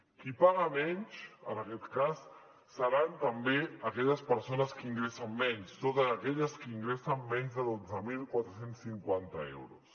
qui paga menys en aquest cas seran també aquelles persones que ingressen menys totes aquelles que ingressen menys de dotze mil quatre cents i cinquanta euros